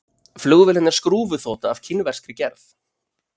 Flugvélin er skrúfuþota af kínverskri gerð